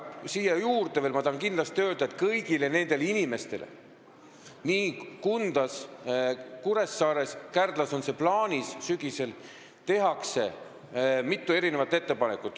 Siia juurde ma tahan kindlasti veel öelda, et kõigile nendele inimestele – Kundas ja Kuressaares, Kärdlas on plaanis teha seda sügisel – tehakse mitu ettepanekut.